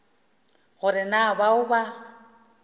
go re na bao ba